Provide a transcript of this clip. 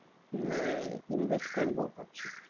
আহ invest করবো ভাবছি।